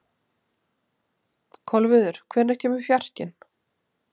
Kolviður, hvenær kemur fjarkinn?